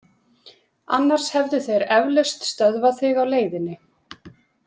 Annars hefðu þeir eflaust stöðvað þig á leiðinni.